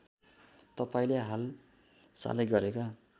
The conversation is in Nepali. तपाईँले हालसालै गरेका